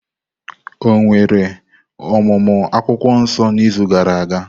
Ọ̀ nwere ọmụmụ akwukwuo nso n’izu gara aga?